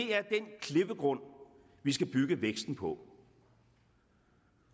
klippegrund vi skal bygge væksten på